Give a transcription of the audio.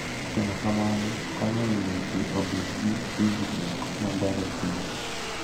Timo kamano konyo e miyo ji obed gi winjruok maber e kindgi.